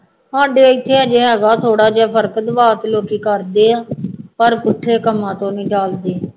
ਸਾਡੇ ਇੱਥੇ ਹਜੇ ਹੈਗਾ ਥੋੜ੍ਹਾ ਜਿਹਾ ਫਰਕ, ਲੋਕੀ ਕਰਦੇ ਹੈ, ਪਰ ਪੁੱਠੇ ਕੰਮਾਂ ਤੋਂ ਨਹੀਂ ਟੱਲਦੇ,